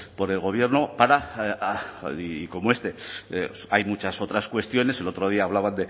por el gobierno para y como este hay muchas otras cuestiones el otro día hablaban